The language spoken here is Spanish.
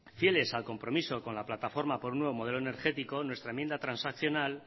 fieles al compromiso con la plataforma por un nuevo modelo energético nuestra enmienda transaccional